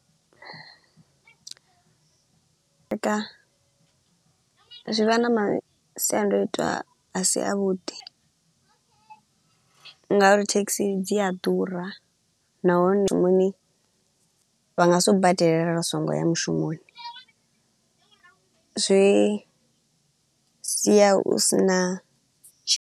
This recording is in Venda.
Zwi vha na masiandoitwa a si a vhuḓi nga uri thekhisi dzi a ḓura, nahone vha nga si u badelele u so ngo ya mushumoni. Zwi sia u si na tshi.